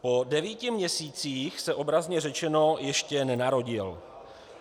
Po devíti měsících se, obrazně řečeno, ještě nenarodil.